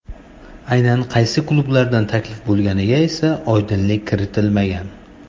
Aynan qaysi klublardan taklif bo‘lganiga esa oydinlik kiritmagan.